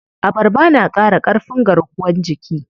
Abarba na ƙara ƙarfin garkuwan jiki.